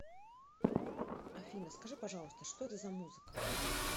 афина скажи пожалуйста что это за музыка